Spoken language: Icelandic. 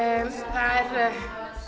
það er